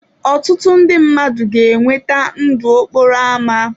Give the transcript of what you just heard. Ọtụtụ ndị mmadụ ga-enweta ndụ n'okporo ámá.